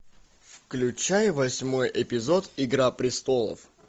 включай восьмой эпизод игра престолов